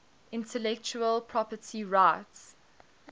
intellectual property rights